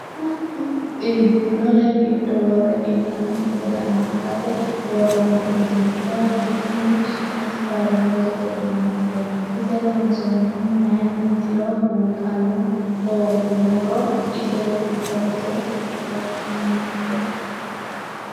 Iibbinore giddo worre qiidanokki gede amaxate worooni uduunchoti kuni su'mase farimujete yinannite ise loonsonnihu mayinnitiro buuxano hooguummoro iseti horose fakkanate.